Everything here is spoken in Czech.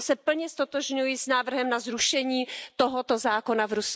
Proto se plně ztotožňuji s návrhem na zrušení tohoto zákona v Rusku.